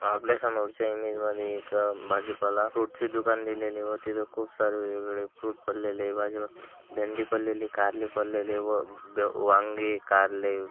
आपल्या समोरच्या इमेज मध्ये एक अह भाजीपाला फ्रूट्स ची दुकान दिलेली व तिथे खूप सारे वेगवेगळे फ्रूट पडलेले भाजी भेंडी पडलेली कार्ले पडलेले व दह वांगे कार्ले--